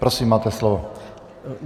Prosím, máte slovo.